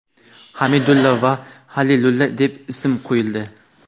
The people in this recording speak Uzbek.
Hamidulla va Halilulla deb ism qo‘yildi.